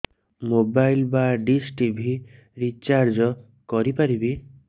mobile ବା dish TV recharge କରି ପାରିବି